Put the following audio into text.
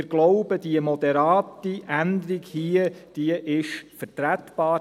Wir glauben, diese moderate Änderung hier sei vertretbar.